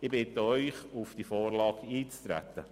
Ich bitte Sie, auf die Vorlage einzutreten.